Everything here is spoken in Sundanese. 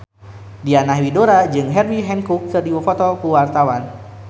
Diana Widoera jeung Herbie Hancock keur dipoto ku wartawan